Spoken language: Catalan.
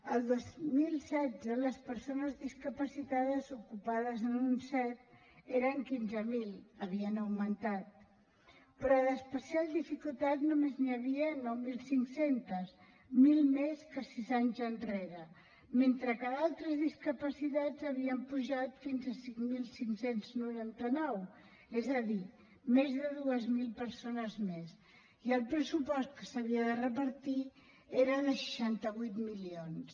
el dos mil setze les persones discapacitades ocupades en un cet eren quinze mil havien augmentat però d’especial dificultat només n’hi havia nou mil cinc cents mil més que sis anys enrere mentre que d’altres discapacitats havien pujat fins a cinc mil cinc cents i noranta nou és a dir més de dos mil persones més i el pressupost que s’havia de repartir era de seixanta vuit milions